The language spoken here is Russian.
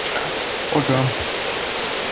шах ага